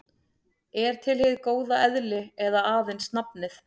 Er til hið góða eðli eða aðeins nafnið?